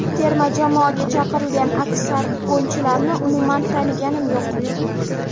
Terma jamoaga chaqirilgan aksar o‘yinchilarni umuman taniganim yo‘q.